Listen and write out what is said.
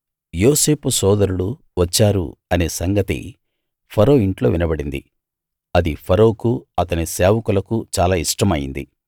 యోసేపు సోదరులు వచ్చారు అనే సంగతి ఫరో ఇంట్లో వినబడింది అది ఫరోకు అతని సేవకులకు చాలా ఇష్టమయింది